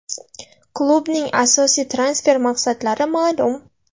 Klubning asosiy transfer maqsadlari ma’lum.